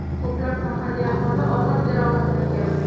Ko‘plab mahalliy aholi og‘ir jarohatlangan.